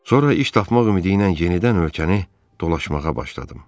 Sonra iş tapmaq ümidi ilə yenidən ölkəni dolaşmağa başladım.